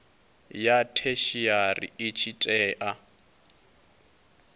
ya theshiari i tshi tea